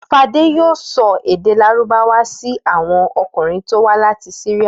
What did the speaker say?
Fadé yóò sọ èdè Lárúbáwá sí àwọn ọkùnrin tó wá láti Syria.